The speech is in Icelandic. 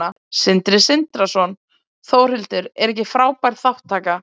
Sindri Sindrason: Þórhildur, er ekki frábær þátttaka?